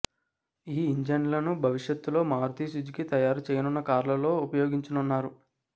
ఈ ఇంజన్లను భవిష్యత్తులో మారుతి సుజుకి తయారు చేయనున్న కార్లలో ఉపయోగించనున్నారు